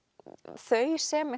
þau sem